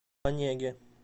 онеге